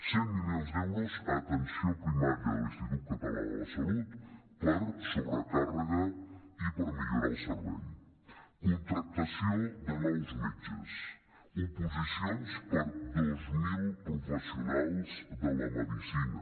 cent milions d’euros a atenció primària de l’institut català de la salut per sobrecàrrega i per millorar el servei contractació de nous metges oposicions per a dos mil professionals de la medicina